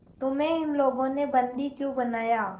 तुम्हें इन लोगों ने बंदी क्यों बनाया